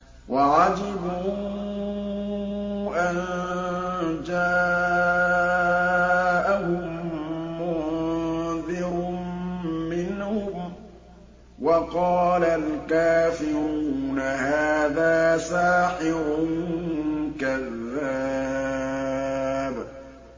وَعَجِبُوا أَن جَاءَهُم مُّنذِرٌ مِّنْهُمْ ۖ وَقَالَ الْكَافِرُونَ هَٰذَا سَاحِرٌ كَذَّابٌ